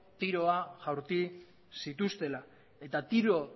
tiro jaurti zituztela eta tiro